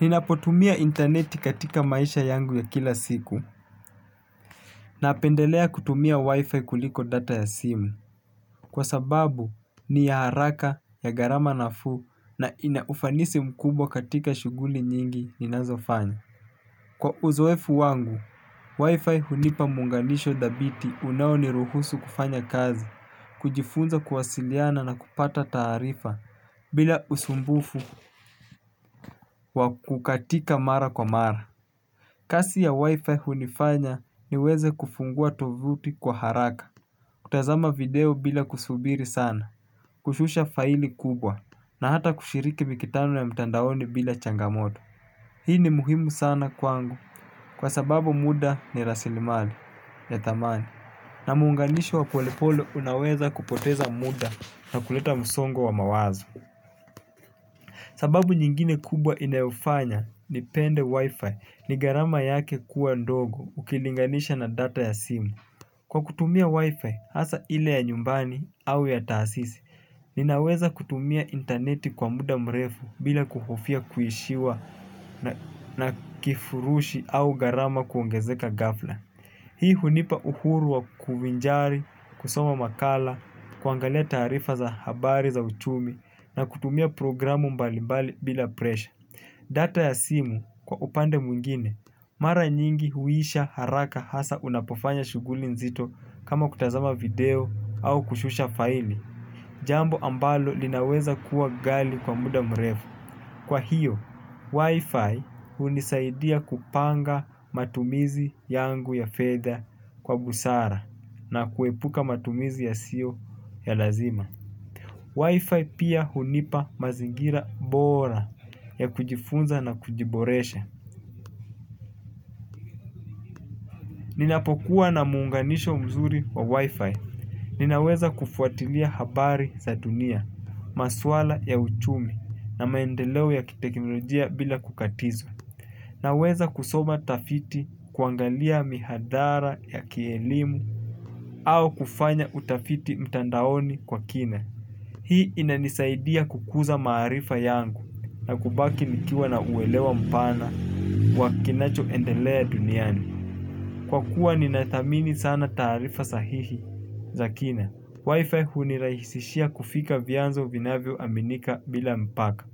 Ninapotumia interneti katika maisha yangu ya kila siku. Napendelea kutumia wifi kuliko data ya sim. Kwa sababu ni ya haraka, ya gharama nafuu. Na ina ufanisi mkubwa katika shughuli nyingi ninazofanya. Kwa uzoefu wangu, wifi hunipa muunganisho dhabiti. Unaoniruhusu kufanya kazi, kujifunza kuwasiliana na kupata taarifa. Bila usumbufu wa kukatika mara kwa mara kasi ya wifi hunifanya niweze kufungua tovuti kwa haraka. Kutazama video bila kusubiri sana kushusha faili kubwa na hata kushiriki mikutano ya mtandaoni bila changamoto hii ni muhimu sana kwangu kwa sababu muda ni rasilimali ya thamani. Na muunganisho wa polepole unaweza kupoteza muda na kuleta msongo wa mawazo. Sababu nyingine kubwa inayofanya nipende wifi ni gharama yake kuwa ndogo ukilinganisha na data ya simu. Kwa kutumia wifi hasa ile ya nyumbani au ya taasisi, ninaweza kutumia interneti kwa muda mrefu bila kuhofia kuishiwa na kifurushi au gharama kuongezeka ghafla. Hii hunipa uhuru wa kuvinjari, kusoma makala, kuangalia tarifa za habari za uchumi na kutumia programu mbali mbali bila presha. Data ya simu kwa upande mwingine, mara nyingi huisha haraka hasa unapofanya shughuli nzito kama kutazama video au kushusha faili. Jambo ambalo linaweza kuwa ghali kwa muda mrefu. Kwa hiyo, wifi hunisaidia kupanga matumizi yangu ya fedha kwa busara na kuepuka matumizi yasio ya lazima. Wifi pia hunipa mazingira bora ya kujifunza na kujiboresha. Ninapokuwa na muunganisho mzuri wa wifi. Ninaweza kufuatilia habari za dunia, maswala ya uchumi na maendeleo ya kiteknolojia bila kukatizwa. Naweza kusoma tafiti kuangalia mihadhara ya kielimu au kufanya utafiti mtandaoni kwa kina. Hii inanisaidia kukuza maarifa yangu na kubaki nikiwa na uwelewa mpana wa kinacho endelea duniani. Kwa kuwa ninathamini sana taarifa sahihi za kina, wifi hunirahisishia kufika vyanzo vinavyo aminika bila mpaka.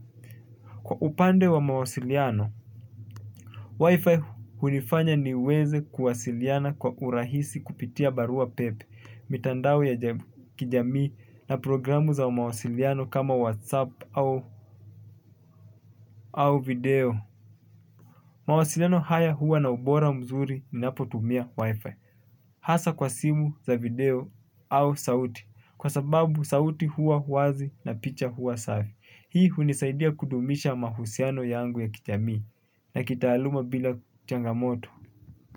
Kwa upande wa mawasiliano, wifi hunifanya niweze kuwasiliana kwa urahisi kupitia barua pepe, mitandao ya kijami na programu za mawasiliano kama whatsapp au video. Mawasiliano haya huwa na ubora mzuri ninapo tumia wifi. Hasa kwa simu za video au sauti kwa sababu sauti huwa wazi na picha huwa safi. Hii hunisaidia kudumisha mahusiano yangu ya kijami. Na kitaaluma bila changamoto.